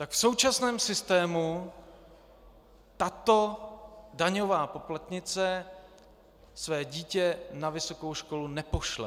Tak v současném systému tato daňová poplatnice své dítě na vysokou školu nepošle.